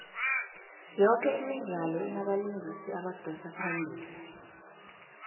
yoke imidlalo inabalingisi abadosa phambili